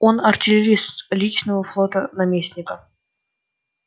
он артиллерист личного флота наместника